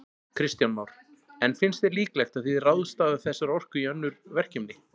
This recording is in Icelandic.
Kristján Már: En finnst þér líklegt að þið ráðstafað þessari orku í önnur verkefni?